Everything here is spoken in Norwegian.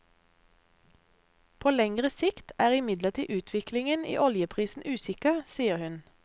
På lengre sikt er imidlertid utviklingen i oljeprisen usikker, sier hun.